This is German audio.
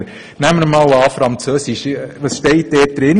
Als erstes das Fach Französisch; was steht dort drin?